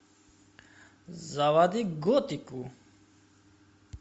заводи готику